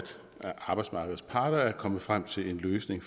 arbejdsmarkedets parter er kommet frem til en løsning